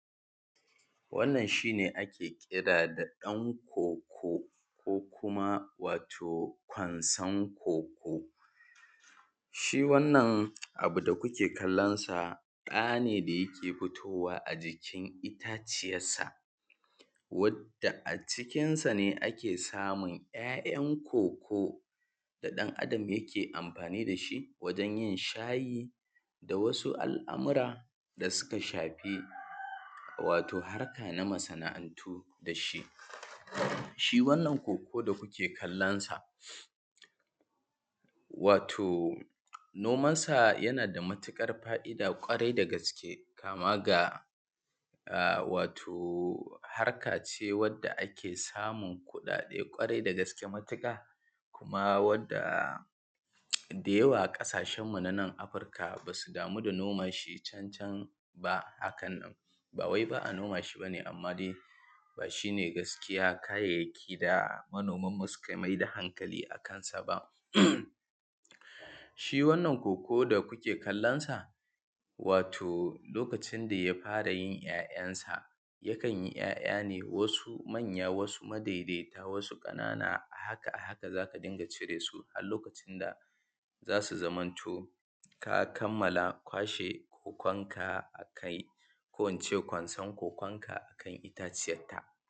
Wannan shi ne ake kira da ɗan ƙoƙo, ko kuma wato kwansan ƙoko dai, wannan abu dai da kuke kallon sa, ɗa ne da yake fitowa a jikin itaciyansa, wadda a cikinsa ne ake samun ‘ya’yan ƙoƙo da ɗan’adam yake yin amfani da shi wajen yin shayi da wasu al’amura da suka shafi wato harka na masana’antu da shi. Shi wannan ƙoko da kuke kallon sa wato nomansa yana da matuƙar fa’ida kwarai da gaske kama ga wato harka ce wadda ake samun kuɗade kwarai da gaske matuƙa, kuma wadda da yawa a ƙasashenmu na Afirika, ba su damu da noma shi can–can ba haka nan, ba wai ba a noma shi ba ne amma dai ba shi ne gaskiya: kayayyaki da manomi suka fi mai da hankali a kansa ba ne. Shi wannan ko:ko: da kuke kallon sa, wato lokacin da ya fara yin ‘ya’yansa, yakan yi ‘ya’ya ne wasu manya, wasu madaidaita, wasu ƙanana. A haka–a–haka, za ta dinga cire su a lokacin da za su zamanto sun kammala kwashe ko:ko:nka a kai ko in ce kwansan ko:ko:nka a kan itaciyanta.